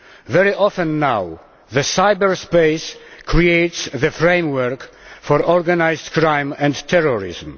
Very often now, cyberspace creates the framework for organised crime and terrorism.